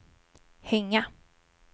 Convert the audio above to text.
hänga